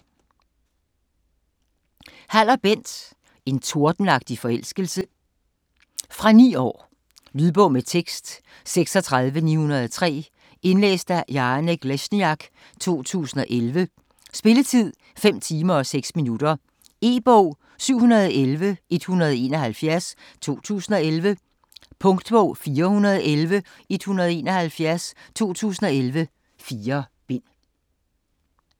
Haller, Bent: En tordenagtig forelskelse Fra 9 år. Lydbog med tekst 36903 Indlæst af Janek Lesniak, 2011. Spilletid: 5 timer, 6 minutter. E-bog 711171 2011. Punktbog 411171 2011. 4 bind.